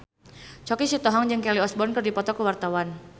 Choky Sitohang jeung Kelly Osbourne keur dipoto ku wartawan